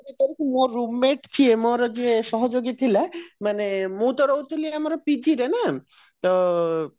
କରିକି ମୁଁ ଆଉ roommate ସିଏ ମୋର ଯିଏ ସହଯୋଗୀ ଥିଲା ମାନେ ମୁଁ ତ ରହୁଥିଲି ଆମର ତ